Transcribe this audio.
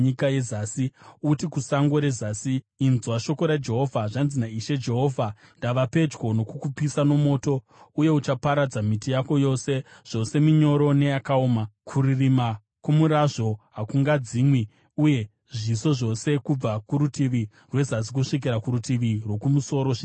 Uti kusango rezasi, ‘Inzwa shoko raJehovha. Zvanzi naIshe Jehovha: Ndava pedyo nokukupisa nomoto, uye uchaparadza miti yako yose, zvose minyoro neyakaoma. Kuririma kwomurazvo hakungadzimwi, uye zviso zvose kubva kurutivi rwezasi kusvikira kurutivi rwokumusoro zvichapiswa nawo.